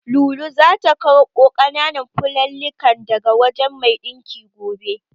Lulu zata karɓo ƙananan fulallikan daga wajen mai ɗinkin gobe.